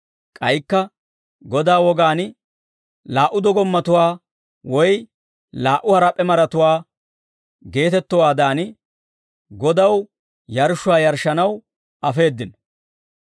k'aykka Godaa wogaan, «Laa"u dogommatuwaa woy laa"u harap'p'e maratuwaa» geetettowaadan, Godaw yarshshuwaa yarshshanaw afeeddino.